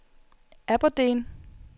Aberdeen